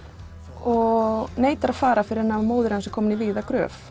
og neitar að fara fyrr en móðir hans er komin í vígða gröf